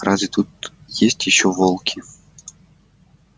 а разве тут есть ещё волки